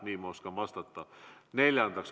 Nii ma oskan vastata.